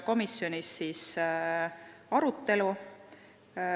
Komisjonis toimus arutelu.